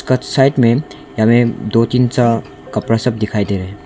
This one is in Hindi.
कट साइड में हमें दो तीन सा कपरा सब दिखाई दे रहे।